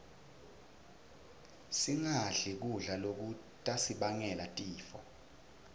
singadli kudla lokutasibangela tifo